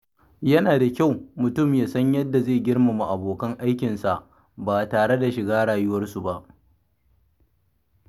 Yana da kyau mutum ya san yadda zai girmama abokan aikinsa ba tare da shiga rayuwarsu ba.